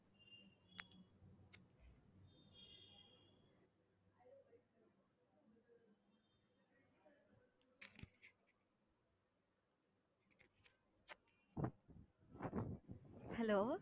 hello